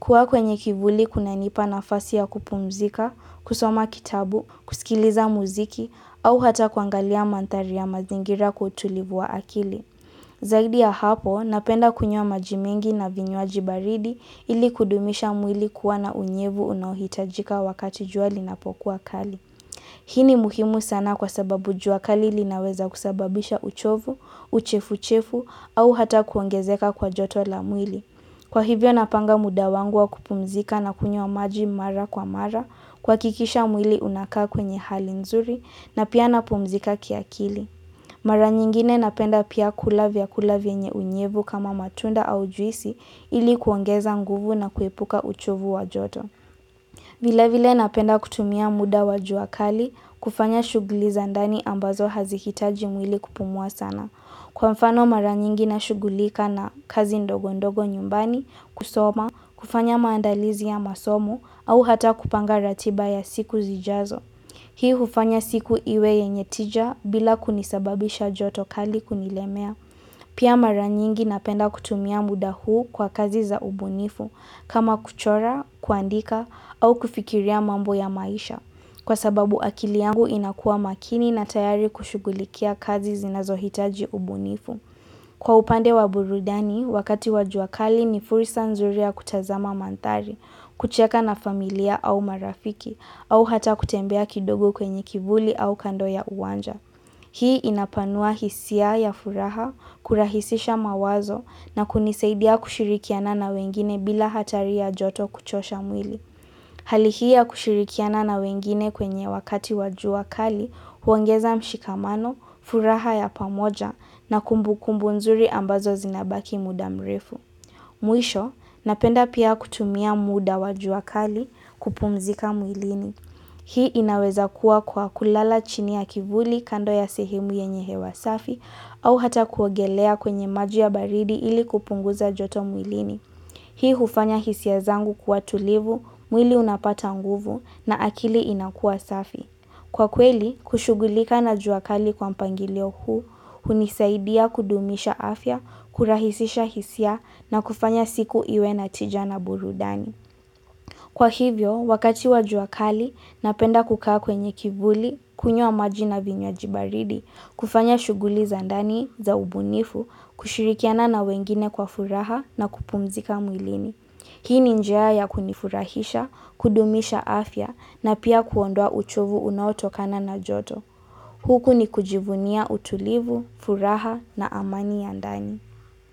Kuwa kwenye kivuli kunanipa nafasi ya kupumzika, kusoma kitabu, kusikiliza muziki, au hata kuangalia mandhari ya mazingira kwa utulivu wa akili. Zaidi ya hapo, napenda kunywa maji mingi na vinywaji baridi ili kudumisha mwili kuwa na unyevu unaohitajika wakati jua linapokuwa kali. Hi ni muhimu sana kwa sababu jua kali linaweza kusababisha uchovu, uchefuchefu au hata kuongezeka kwa joto la mwili. Kwa hivyo napanga muda wangu wa kupumzika nakunywa maji mara kwa mara kuhakikisha mwili unakaa kwenye hali nzuri na pia napumzika kiakili. Mara nyingine napenda pia kula vyakula vyenye unyevu kama matunda au juisi ili kuongeza nguvu na kuepuka uchovu wa joto. Vile vile napenda kutumia muda wa jua kali kufanya shughuli za ndani ambazo hazihitaji mwili kupumua sana. Kwa mfano maranyingi na shughulika na kazi ndogo ndogo nyumbani, kusoma, kufanya maandalizi ya masomo au hata kupanga ratiba ya siku zijazo. Hii hufanya siku iwe yenye tija bila kunisababisha joto kali kunilemea. Pia maranyingi napenda kutumia muda huu kwa kazi za ubunifu kama kuchora, kuandika au kufikiria mambo ya maisha. Kwa sababu akili yangu inakua makini na tayari kushughulikia kazi zinazohitaji ubunifu. Kwa upande wa burudani, wakati wa jua kali ni fursa nzuri ya kutazama mandhari, kucheka na familia au marafiki, au hata kutembea kidogo kwenye kivuli au kando ya uwanja. Hii inapanua hisia ya furaha, kurahisisha mawazo na kunisaidia kushirikiana na wengine bila hatari ya joto kuchosha mwili. Hali hii ya kushirikiana na wengine kwenye wakati wa jua kali huongeza mshikamano, furaha ya pamoja na kumbukumbu nzuri ambazo zinabaki muda mrefu. Mwisho, napenda pia kutumia muda wa jua kali kupumzika mwilini. Hii inaweza kuwa kwa kulala chini ya kivuli kando ya sehemu yenye hewa safi au hata kuogelea kwenye maji ya baridi ili kupunguza joto mwilini. Hii hufanya hisia zangu kwa tulivu, mwili unapata nguvu na akili inakua safi. Kwa kweli, kushughulika na jua kali kwa mpangilio huu, hunisaidia kudumisha afya, kurahisisha hisia na kufanya siku iwe na tija na burudani. Kwa hivyo, wakati wa jua kali, napenda kukaa kwenye kivuli, kunywa maji na vinywaji baridi, kufanya shughuli za ndani, za ubunifu, kushirikiana na wengine kwa furaha na kupumzika mwilini. Hii ni njia ya kunifurahisha, kudumisha afya na pia kuondoa uchovu unao tokana na joto. Huku ni kujivunia utulivu, furaha na amani ya ndani.